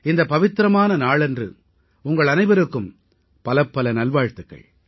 இந்தப் பவித்திரமான நாளன்று உங்கள் அனைவருக்கும் பலப்பல நல்வாழ்த்துக்கள்